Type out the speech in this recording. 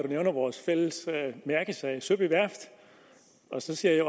nævner vores fælles mærkesag søby værft og så ser jeg